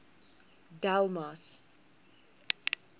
delmas